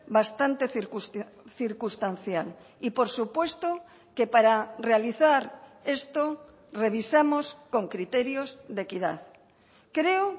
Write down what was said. bastante circunstancial y por supuesto que para realizar esto revisamos con criterios de equidad creo